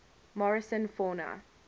morrison fauna